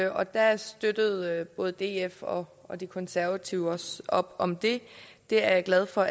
og der støttede både df og og de konservative også op om det det er jeg glad for